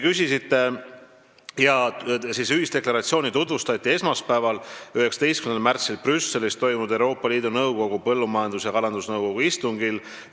Seda tutvustati esmaspäeval, 19. märtsil Brüsselis toimunud Euroopa Liidu Nõukogu põllumajandus- ja kalandusnõukogu istungil.